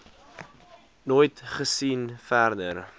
nooit gesien verder